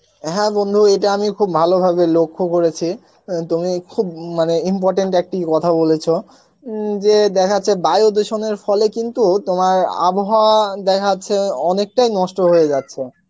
হ্যাঁ বন্ধু এটা আমি খুব ভালোভাবে লক্ষ্য করেছি অ্যাঁ তুমি খুব মানে important একটি কথা বলেছো উম যে দেখা যাচ্ছে বায়ু ধুসনের ফলে কিন্তু তোমার আবহাওয়া দেখা যাচ্ছে অনেক টাই নষ্ট হয়ে যাচ্ছে